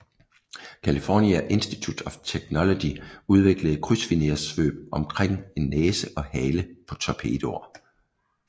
California Institute of Technology udviklede krydsfinerssvøb rundt om næse og hale på torpedoer